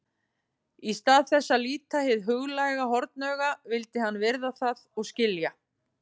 Í stað þess að líta hið huglæga hornauga vildi hann virða það og skilja.